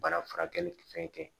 Baara furakɛli fɛn kɛ